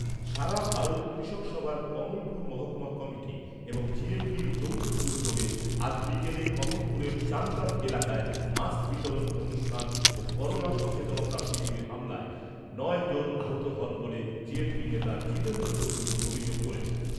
সারা ভারত কৃষক সভার কমলপুর মহকুমা কমিটি এবং জিএমপির যৌথ উদ্যোগে আজ বিকেলে কমলপুরের চানকাপ এলাকায়, মাস্ক বিতরন অনুষ্ঠান ও করোনা সচেতনতা শিবিরে হামলায় নয় জন আহত হন বলে নেতা জিতেন্দ্র চৌধুরী অভিযোগ করেছেন।